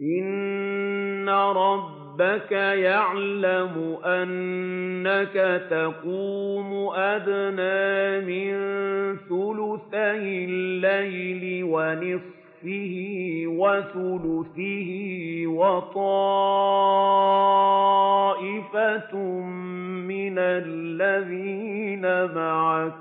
۞ إِنَّ رَبَّكَ يَعْلَمُ أَنَّكَ تَقُومُ أَدْنَىٰ مِن ثُلُثَيِ اللَّيْلِ وَنِصْفَهُ وَثُلُثَهُ وَطَائِفَةٌ مِّنَ الَّذِينَ مَعَكَ ۚ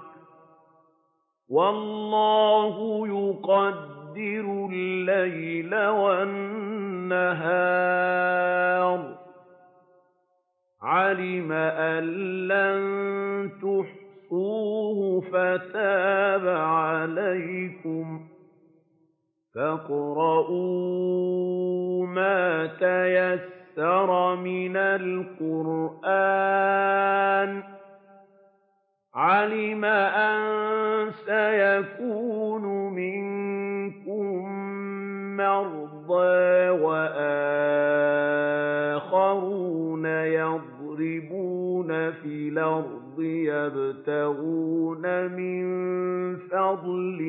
وَاللَّهُ يُقَدِّرُ اللَّيْلَ وَالنَّهَارَ ۚ عَلِمَ أَن لَّن تُحْصُوهُ فَتَابَ عَلَيْكُمْ ۖ فَاقْرَءُوا مَا تَيَسَّرَ مِنَ الْقُرْآنِ ۚ عَلِمَ أَن سَيَكُونُ مِنكُم مَّرْضَىٰ ۙ وَآخَرُونَ يَضْرِبُونَ فِي الْأَرْضِ يَبْتَغُونَ مِن فَضْلِ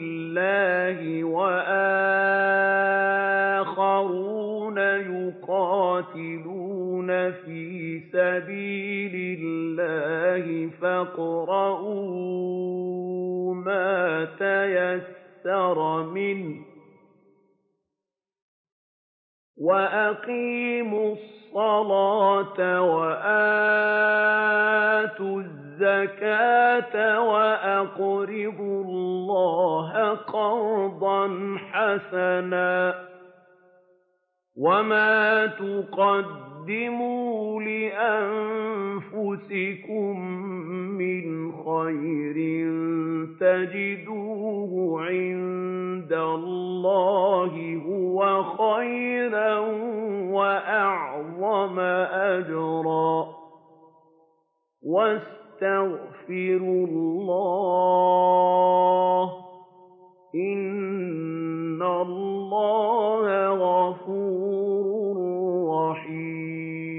اللَّهِ ۙ وَآخَرُونَ يُقَاتِلُونَ فِي سَبِيلِ اللَّهِ ۖ فَاقْرَءُوا مَا تَيَسَّرَ مِنْهُ ۚ وَأَقِيمُوا الصَّلَاةَ وَآتُوا الزَّكَاةَ وَأَقْرِضُوا اللَّهَ قَرْضًا حَسَنًا ۚ وَمَا تُقَدِّمُوا لِأَنفُسِكُم مِّنْ خَيْرٍ تَجِدُوهُ عِندَ اللَّهِ هُوَ خَيْرًا وَأَعْظَمَ أَجْرًا ۚ وَاسْتَغْفِرُوا اللَّهَ ۖ إِنَّ اللَّهَ غَفُورٌ رَّحِيمٌ